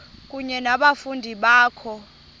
kunye nabafundi bakho